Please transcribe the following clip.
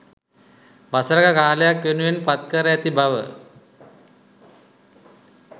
වසරක කාලයක්‌ වෙනුවෙන් පත්කර ඇති බව